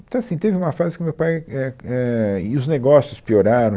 Então, assim, teve uma fase que o meu pai... é, é, e os negócios pioraram.